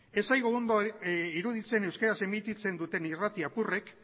ez zaigu ondo iruditzen euskeraz emititzen duten irrati apurrek